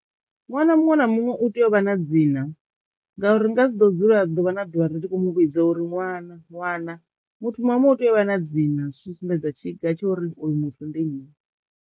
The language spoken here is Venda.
Ṅwana muṅwe na muṅwe u tea u vha na dzina ngauri ri nga si ḓo dzula ḓuvha na ḓuvha ri ndi khou muvhudza uri ṅwana, ṅwana. Muthu muṅwe na muṅwe u tea u vha na dzina zwi tshi sumbedza tshiga tsho uri uyu muthu ndi nnyi.